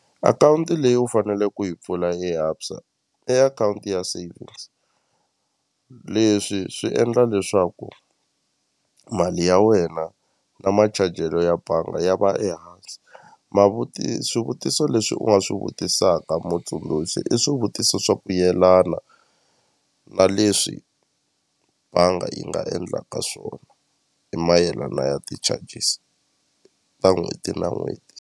Akhawunti leyi u faneleke ku yi pfula eABSA i akhawunti ya savings leswi swi endla leswaku mali ya wena na machajelo ya banga ya va ehansi swivutiso leswi u nga swi vutisaka mutsundzuxi i swivutiso swa ku yelana na leswi va nga yi nga endlaka swona hi mayelana ya ti-charges ta n'hweti na n'hweti.